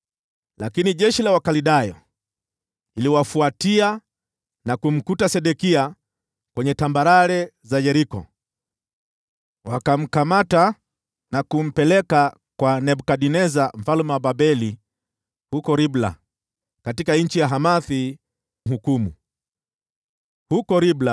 Lakini jeshi la Wakaldayo likawafuatia na kumpata Sedekia katika sehemu tambarare za Yeriko. Wakamkamata na kumpeleka kwa Nebukadneza mfalme wa Babeli huko Ribla, katika nchi ya Hamathi, mahali ambapo alimtangazia hukumu.